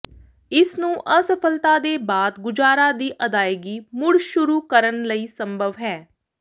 ਇਸ ਨੂੰ ਅਸਫਲਤਾ ਦੇ ਬਾਅਦ ਗੁਜਾਰਾ ਦੀ ਅਦਾਇਗੀ ਮੁੜ ਸ਼ੁਰੂ ਕਰਨ ਲਈ ਸੰਭਵ ਹੈ